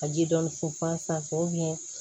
Ka ji dɔɔnin funfun a sanfɛ